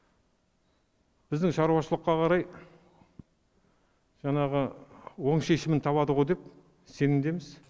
біздің шаруашылыққа қарай жаңағы оң шешімін табады ғой деп сенімдеміз